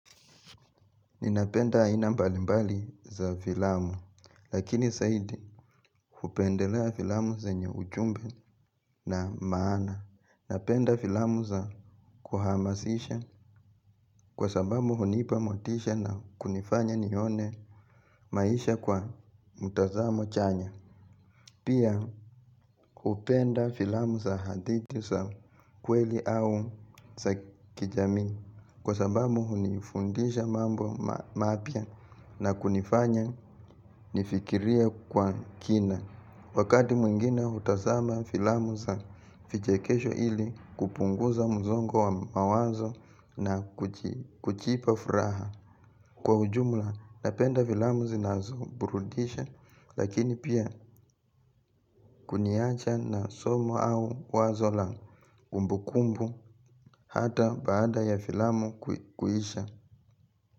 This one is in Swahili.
Ninapenda aina mbalimbali za filamu. Lakini zaidi hupendelea filamu zenye ujumbe na maana. Napenda filamu za kuhamasisha. Kwa sababu hunipa motisha na kunifanya nione maisha kwa mtazamo chanya. Pia hupenda filamu za hadithi za kweli au za kijamii. Kwa sababu hunifundisha mambo mapya na kunifanya nifikirie kwa kina. Wakati mwingine hutazama filamu za vichekesho ili kupunguza msongo wa mawazo na kujipa furaha. Kwa ujumla napenda filamu zinazo burudisha lakini pia kuniacha na somo au wazo la kumbukumbu hata baada ya filamu kuisha.